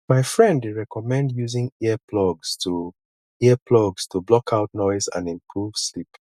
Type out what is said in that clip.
my friend dey recommend using earplugs to earplugs to block out noise and improve sleep